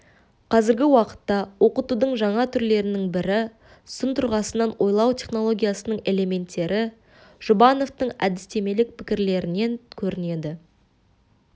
қазіргі уақытта оқытудың жаңа түрлерінің бірі сын тұрғысынан ойлау технологиясының элементтері жұбановтың әдістемелік пікірлерінен көрінеді